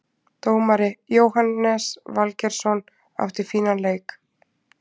Dómari: Jóhannes Valgeirsson, átti fínan leik.